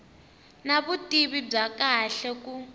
na vutivi bya kahle ku